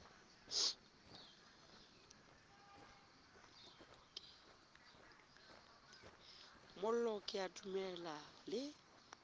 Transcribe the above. mollo ke a dumela le